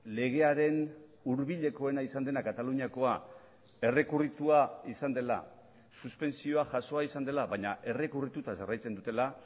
legearen hurbilekoena izan dena kataluniakoa errekurritua izan dela suspentsioa jasoa izan dela baina errekurrituta jarraitzen dutela